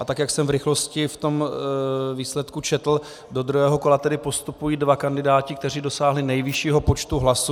A tak jak jsem v rychlosti v tom výsledku četl, do druhého kola tedy postupují dva kandidáti, kteří dosáhli nejvyššího počtu hlasů.